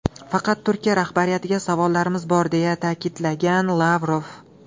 Faqat Turkiya rahbariyatiga savollarimiz bor”, deya ta’kidlagan Lavrov.